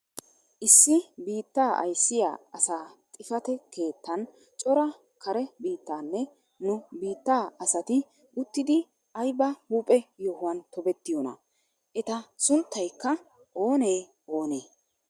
Issi biittaa ayssiyaa asa xifate keettaan cora kare biittaanne nu biittaa asati uttidi ayba huuphphe yohuwaan tobettiyoonaa? eta sunttaykka oonee oonee?